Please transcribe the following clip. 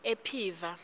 ephiva